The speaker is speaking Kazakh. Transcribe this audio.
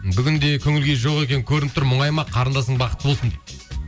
бүгін де көңілкүйі жоқ екені көрініп тұр мұңайма қарындасың бақытты болсын